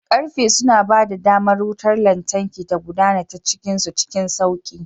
Karfe suna ba da damar wutar lantarki ta gudana ta cikin su cikin sauƙi.